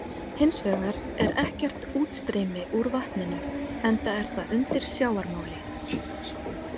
Hins vegar er ekkert útstreymi úr vatninu enda er það undir sjávarmáli.